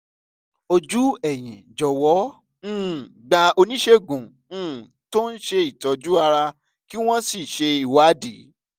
ojú ẹ̀yìn jọ̀wọ́ um gba oníṣègùn um tó ń ṣe àtọ́jú ara kí wọ́n sì ṣe ìwádìí